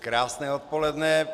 Krásné odpoledne.